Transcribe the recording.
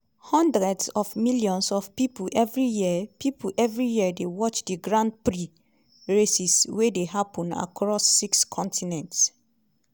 hundreds of millions of pipo evri year pipo evri year dey watch di grand prix races wey dey happun across six continents.